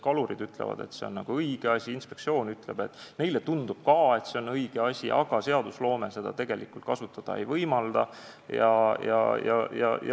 Kalurid ütlevad, et see on õige asi, inspektsioon ütleb, et neile tundub ka, et see on õige asi, aga seadused seda tegelikult kasutada ei võimalda.